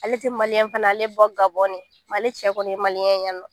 Ale tɛ maliyɛn fana ye ale bɛ bɔ Gabɔn de ale cɛ kɔni ye maliyɛn ye yan nɔ